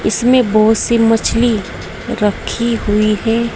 इसमें बहोत सी मछली रखी हुई है।